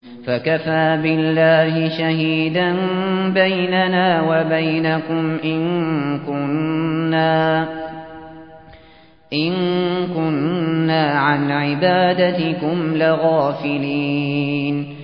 فَكَفَىٰ بِاللَّهِ شَهِيدًا بَيْنَنَا وَبَيْنَكُمْ إِن كُنَّا عَنْ عِبَادَتِكُمْ لَغَافِلِينَ